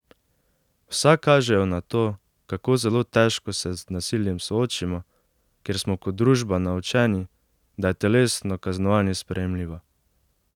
Vsa kažejo na to, kako zelo težko se z nasiljem soočimo, ker smo kot družba naučeni, da je telesno kaznovanje sprejemljivo.